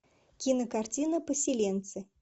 кинокартина поселенцы